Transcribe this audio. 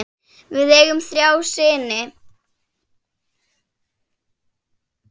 Við eigum þrjá syni.